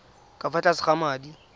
ka fa tlase ga madi